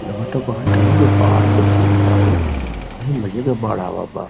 लगता बाहर कहीं के बाढ़ का सीन बा हो। कहीं मजे क बाढ़ आवल बा।